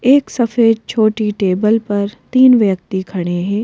एक सफेद छोटी टेबल पर तीन व्यक्ति खड़े हैं।